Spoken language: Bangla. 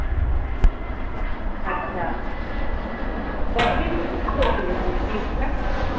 আচ্ছা কতদিন পড়েছিল